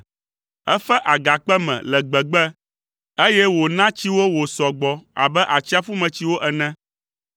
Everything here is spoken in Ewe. Efe agakpe me le gbegbe, eye wòna tsi wo wòsɔ gbɔ abe atsiaƒumetsiwo ene.